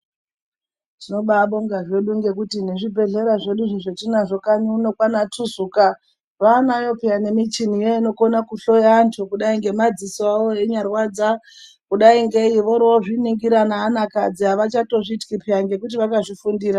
Tinobaa bonga zvedu ngekuti nezvibhehlera zvedu izvi zvetinazvo izvi kanyi uno kwaana Tuzuka vanayo peya nemuchini inokona kuhloya vanhu kudai ngemadzisowo enyarwadza kudai ngei vorozviningira nevanakadzi avachatyi kuningira anhu ngekuti vakazvifundira